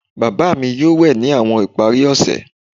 Baba mi yoo we ni awọn ipari ose